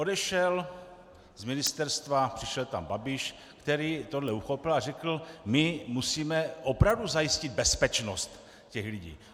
Odešel z ministerstva, přišel tam Babiš, který tohle uchopil a řekl: My musíme opravdu zajistit bezpečnost těch lidí.